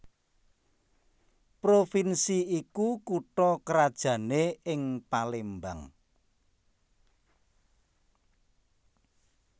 Provinsi iku kutha krajané ing Palembang